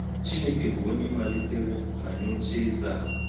Chineke bụ onye malitere ma nye ocheeze a.